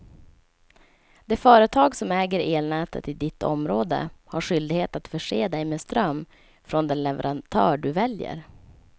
Det företag som äger elnätet i ditt område har skyldighet att förse dig med ström från den leverantör du väljer.